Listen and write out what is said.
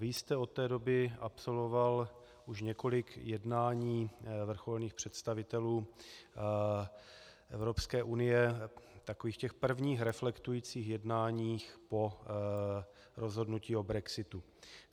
Vy jste od té doby absolvoval už několik jednání vrcholných představitelů Evropské unie, takových těch prvních reflektujících jednání po rozhodnutí o brexitu.